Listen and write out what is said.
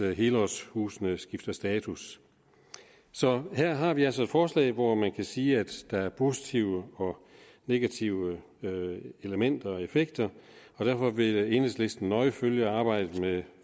helårshusene skifter status så her har vi altså et forslag hvor man kan sige at der er positive og negative elementer og effekter og derfor vil enhedslisten nøje følge arbejdet med